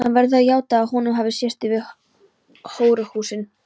Hann verður að játa að honum hafi sést yfir hóruhúsin.